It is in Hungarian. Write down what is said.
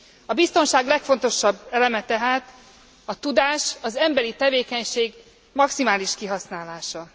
A biztonság legfontosabb eleme tehát a tudás, az emberi tevékenység maximális kihasználása.